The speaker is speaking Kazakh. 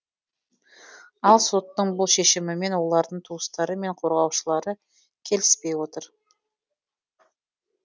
ал соттың бұл шешімімен олардың туыстары мен қорғаушылары келіспей отыр